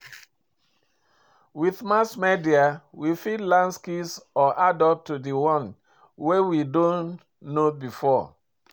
With mass media we fit learn skills or add up to di one wey we don know before